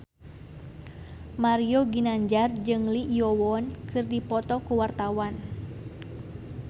Mario Ginanjar jeung Lee Yo Won keur dipoto ku wartawan